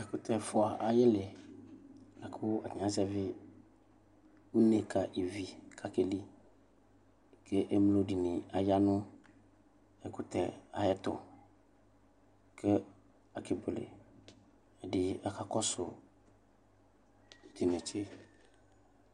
Ɛkʋtɛ ɛfʋa ayili lakʋ atani azɛvi une ka ivi kʋ akɛli kʋ emlo dini ayanʋ ɛkʋtɛ ayʋ ɛtʋ kʋ akebuele kʋ ɛdini akakɔsʋ tʋ inetse